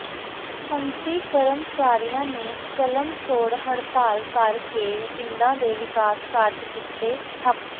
ਸੰਮਤੀ ਕਰਮਚਾਰੀਆਂ ਨੇ ਕਲਮ ਛੋੜ ਹੜਤਾਲ ਕਰ ਕੇ ਪਿੰਡਾਂ ਦੇ ਵਿਕਾਸ ਕਾਰਜ ਕੀਤੇ ਠੱਪ